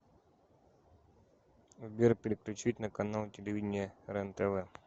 сбер переключить на канал телевидения рентв